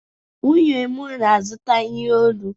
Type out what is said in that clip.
Nwunye m na-azụta ihe olu.